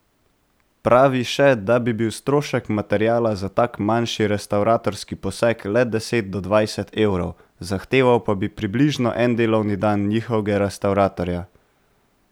Pravi še, da bi bil strošek materiala za tak manjši restavratorski poseg le deset do dvajset evrov, zahteval pa bi približno en delovni dan njihovega restavratorja.